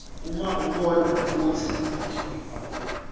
uma ubona kutsi